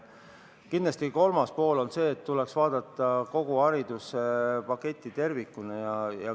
Kindlasti, kolmas pool on see, et tuleks vaadata kogu hariduspaketti tervikuna.